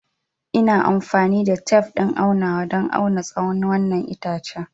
Ina amfani da tef ɗin aunawa don auna tsawon wannan itace.